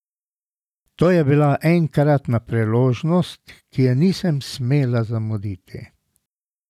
To je bila enkratna priložnost, ki je nisem smela zamuditi!